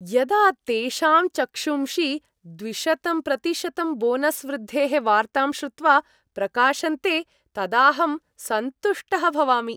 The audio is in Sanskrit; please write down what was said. यदा तेषां चक्षूंषि द्विशतं प्रतिशतं बोनस् वृद्धेः वार्तां श्रुत्वा प्रकाशन्ते तदाहं सन्तुष्टः भवामि।